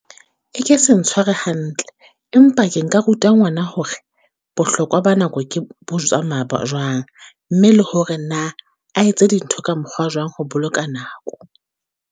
E ke se ntshware hantle, empa ke nka ruta ngwana hore bohlokwa ba nako ke bo tsamaya jwang. Mme le hore na a etse dintho ka mokgwa jwang ho boloka nako.